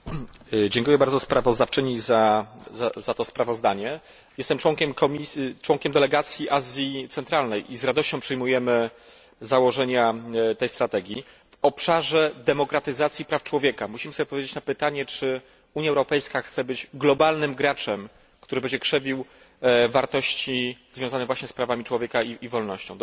Pani Przewodnicząca! Dziękuję bardzo sprawozdawczyni za to sprawozdanie. Jestem członkiem delegacji ds. Azji Centralnej i z radością przyjmujemy założenia tej strategii. W obszarze demokratyzacji praw człowieka musimy odpowiedzieć sobie na pytanie, czy Unia Europejska chce być globalnym graczem, który będzie krzewił wartości związane właśnie z prawami człowieka i wolnością.